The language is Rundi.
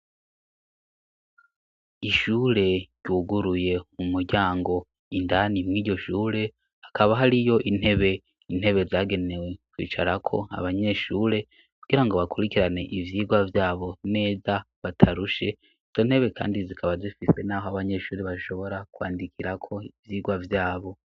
Ishure ryuguruye mu muryango indani mwiryo shure hakaba hoari yo intebe intebe zagenewe kwicarako abanyeshure kugira ngo bakurikirane ivyirwa vyabo meza batarushe izo ntebe, kandi zikaba zifise, naho abanyeshuri bashobora kwandikirako ivyigwa vyabo.